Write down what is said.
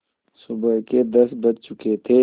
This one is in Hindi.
सुबह के दस बज चुके थे